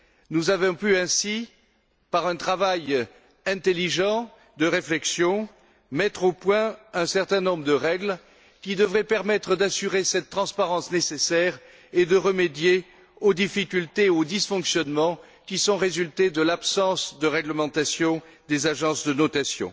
Nous avons ainsi pu, par un travail intelligent de réflexion, mettre au point un certain nombre de règles qui devraient permettre d'assurer cette transparence nécessaire et de remédier aux difficultés et aux disfonctionnements qui ont résulté de l'absence de réglementation des agences de notation.